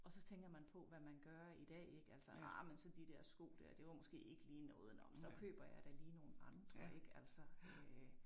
Og så tænker man på hvad man gør i dag ik altså ej men så de der sko dér det var måske ikke lige noget nåh men så køber jeg da lige nogle andre ik altså øh